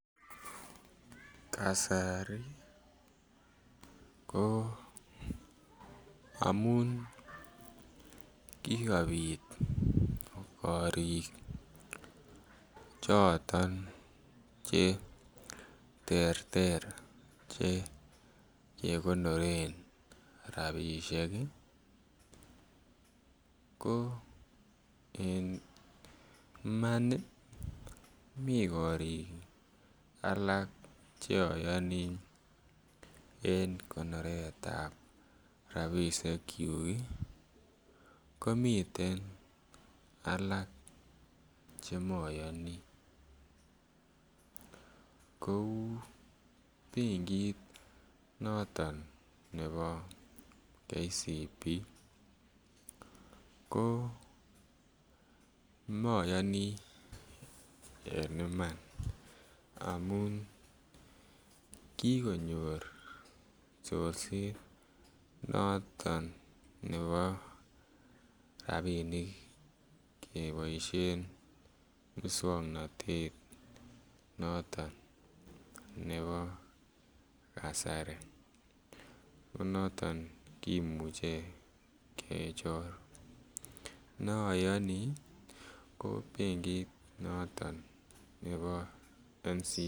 Kasari ko amun kikopit korik choton che terter che kegonoren rabishek ii ko en Iman ii mii korik alak che oyoni en konoretab rabishekyuk ii komiten alak che moyoni kouu benkit noton nebo kcb ko moyoni en Iman amun kigonyor chorset noton nebo rabinik keboishen muswongnotet noton nebo kasari ko noton kimuche kechor. Ne oyoni ko benkit noton nebo ncba